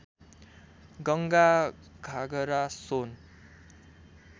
Ganga Ghaghara Son